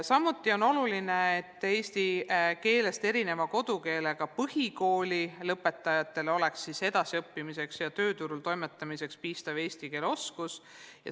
Samuti on oluline, et eesti keelest erineva kodukeelega põhikooli lõpetajatel oleks edasiõppimiseks ja tööturul toimetamiseks piisav eesti keele oskus.